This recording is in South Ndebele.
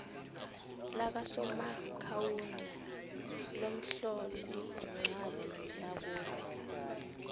lakasomaakhawundi lomhloliincwadi nakube